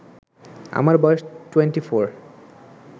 আমার বয়স 24